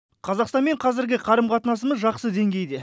қазақстанмен қазіргі қарым қатынасымыз жақсы деңгейде